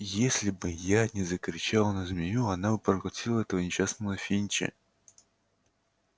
если бы я не закричал на змею она бы проглотила этого несчастного финча